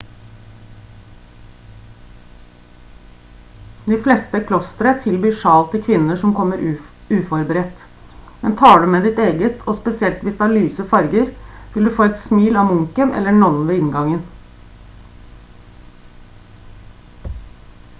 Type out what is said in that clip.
de fleste klostre tilbyr sjal til kvinner som kommer uforberedt men tar du med ditt eget og spesielt hvis det har lyse farger vil du få et smil av munken eller nonnen ved inngangen